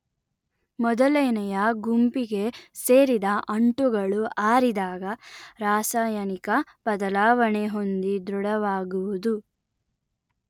ಮೊದಲನೆಯ ಗುಂಪಿಗೆ ಸೇರಿದ ಅಂಟುಗಳು ಆರಿದಾಗ ರಾಸಾಯನಿಕ ಬದಲಾವಣೆ ಹೊಂದಿ ದೃಢವಾಗುವುದು